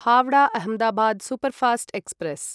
Howrah Ahmedabad superfast express